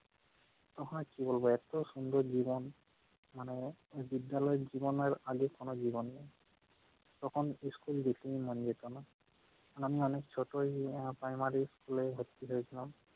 আহা কী বলবো এত সুন্দর জীবন মানে বিদ্যালয়ের জীবনের আগে কোন জীবন নেই। তখন school বেশি মানুষ যেত না। তখন আমি অনেক ছোট primary school এ ভর্তি হয়েছিলাম।